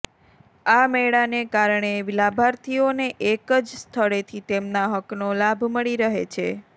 આ મેળાને કારણે લાભાર્થીઓને એક જ સ્થળેથી તેમના હકનો લાભ મળી રહે છે